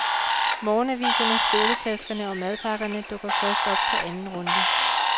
Morgenaviserne, skoletaskerne og madpakkerne dukker først op på anden runde.